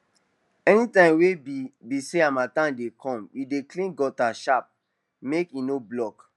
anytime wey be be say harmattan dey come we dey clean gutter sharp make e nor block